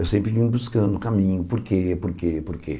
Eu sempre vim buscando o caminho, por quê, por quê, por quê.